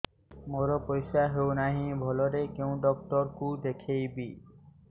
ମୋର ପରିଶ୍ରା ହଉନାହିଁ ଭଲରେ କୋଉ ଡକ୍ଟର କୁ ଦେଖେଇବି